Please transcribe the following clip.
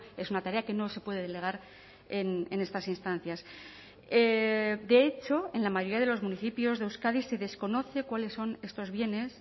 es una tarea que no se puede delegar en estas instancias de hecho en la mayoría de los municipios de euskadi se desconoce cuáles son estos bienes